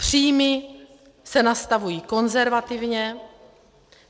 Příjmy se nastavují konzervativně.